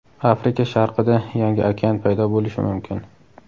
Afrika sharqida yangi okean paydo bo‘lishi mumkin.